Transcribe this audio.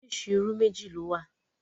Oríṣi irú méjì ló wà.